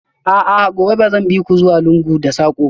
A'a, gobe ba zan bi ku zuwa lungu da sako ba?